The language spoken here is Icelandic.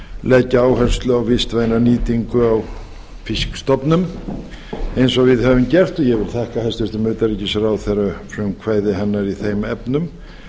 leggja áherslu á vistvæna nýtingu á fiskstofnum eins og við höfum gert og ég vil þakka hæstvirtum utanríkisráðherra frumkvæði hennar í þeim efnum